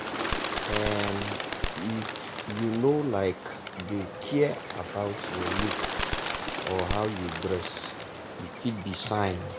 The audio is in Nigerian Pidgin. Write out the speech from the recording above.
um if you no um dey care about your look or how you dress e fit be sign.